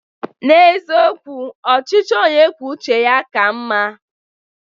N'eziokwu, ọchịchị onye kwuo uche ya ka mma.